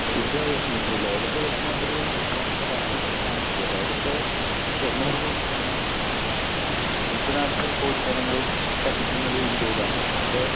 തീർച്ചയായും ലോകത്ത് തന്നെ ഒരു പ്രമുഖ രാഷ്ട്രമാണ് ഇന്ത്യ. ലോകത്തെ എണ്ണൂറ് കോടി ജനങ്ങൾ ഇൽ നൂറ്റി നാല്പത് കോടി ജനങ്ങളും വസിക്കുന്നത് ഇന്ത്യയിലാണ്. അപ്പോൾ